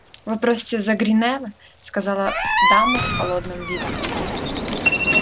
вы просите за гринёва сказала дама с холодным видом